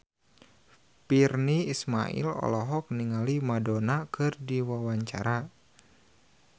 Virnie Ismail olohok ningali Madonna keur diwawancara